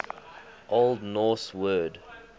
old norse word